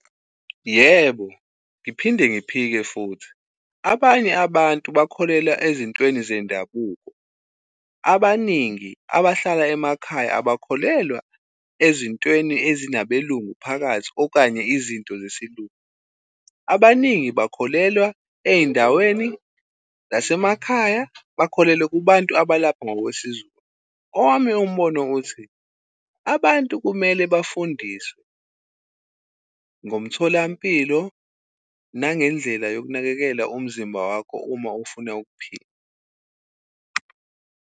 Yebo, ngiphinde ngiphike futhi. Abanye abantu bakholelwa ezintweni zendabuko. Abaningi abahlala emakhaya abakholelwa ezintweni ezinabelungu phakathi okanye izinto zesilungu. Abaningi bakholelwa ey'ndaweni zasemakhaya, bakholelwe kubantu abalapha ngokwesiZulu. Owami umbone uthi, abantu kumele bafundiswe ngomtholampilo nangendlela yokunakekela umzimba wakho uma ufuna ukuphila.